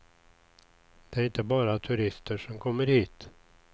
Det är inte bara turister som kommer hit.